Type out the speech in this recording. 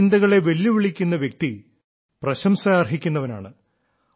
ഈ ചിന്തകളെ വെല്ലുവിളിക്കുന്ന വ്യക്തി പ്രശംസ അർഹിക്കുന്നവനാണ്